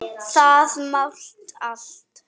Það mál allt.